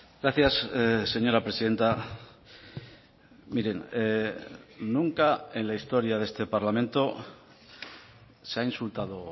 gracias señora presidenta miren nunca en la historia de este parlamento se ha insultado